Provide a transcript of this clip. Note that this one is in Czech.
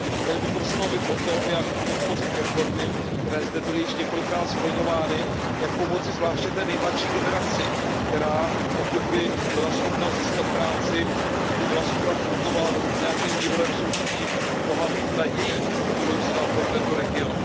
Měli bychom se bavit o tom, jak podpořit reformy, které zde byly již několikrát skloňovány, jak pomoci zvláště té nejmladší generaci, která pokud by byla schopna získat práci, pokud by byla schopna fungovat v nějakém mírovém soužití by mohla být nadějí do budoucna pro tento region.